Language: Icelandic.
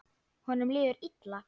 Honum líður illa.